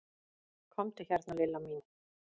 Komdu hérna Lilla mín.